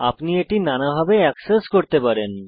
আপনি নানাভাবে bookmarks access করতে পারেন